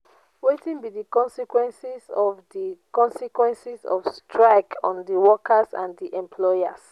wetin be di consequences be di consequences of strike on di workers and di employers?